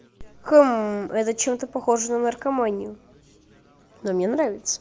это чем-то похоже на наркоманию но мне нравится